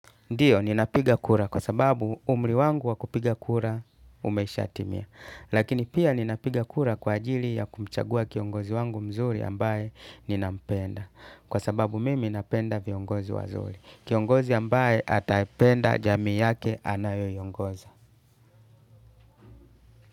Ndiyo, ninapiga kura kwa sababu umri wangu wa kupiga kura umesha timia. Lakini pia ninapiga kura kwa ajili ya kumchagua kiongozi wangu mzuri ambaye ninampenda. Kwa sababu mimi napenda viongozi wazuri. Kiongozi ambaye ataipenda jamii yake anayoiongoza.